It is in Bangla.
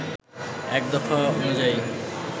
এক দফা অনুযায়ী